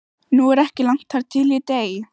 Nú er ekki langt þar til ég dey.